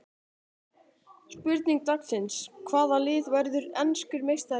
Spurning dagsins: Hvaða lið verður enskur meistari?